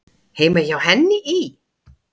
Heima hjá henni í